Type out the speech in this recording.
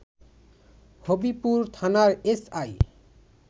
হবিপুর থানার এসআই